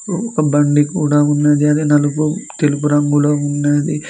ఒక బండి కూడా ఉన్నది అది నలుపు తెలుగు రంగులో ఉన్నది.